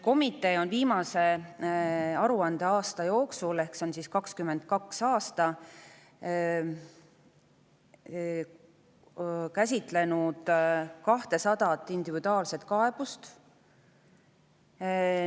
Komitee on viimase aruandeaasta jooksul – ehk 2022. aastal – käsitlenud 200 individuaalset kaebust.